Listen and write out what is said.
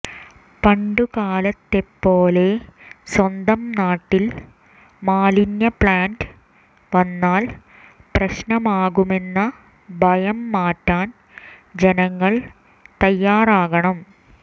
പണ്ടുകാലത്തെപ്പോലെ സ്വന്തം നാട്ടിൽ മാലിന്യപ്ലാൻറ് വന്നാൽ പ്രശ്നമാകുമെന്ന ഭയം മാറ്റാൻ ജനങ്ങൾ തയാറാകണം